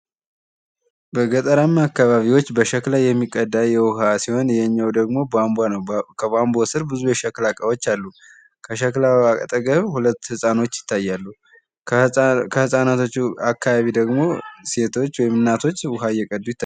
በገጠራማ አካባቢዎች በሸክላ የሚቀዳ ውሃ ሲሆን ደግሞ ቧንቧ ነው። ከቧንቧ ስር ብዙ የሸክላ እቃዎች አሉ። ከሸክላው አጠገብ ሀለት ሀጻኖች ይታያሉ። ከህጻናቶቹ አካባቢ ደግሞ ሴቶች ወይም እናቶች ውሃ እየቀዱ ይታያሉ።